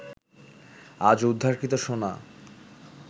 আজ উদ্ধারকৃত সোনা